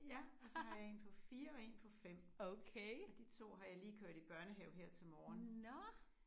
Ja og så har jeg en på 4 og en på 5 og de to har jeg lige kørt i børnehave her til morgen